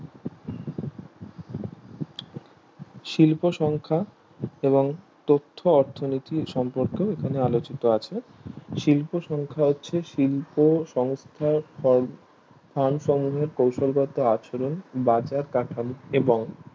শিল্প সংখ্যা এবং তত্ত্ব অর্থনীতি সম্পর্কেও এখানে আলোচিত আছে শিল্প সংখ্যা হচ্ছে শিল্প সংখ্যার ফর ফ্যান সম্মূহের কৌশলগত আচরণ বাজার কাঠামো এবং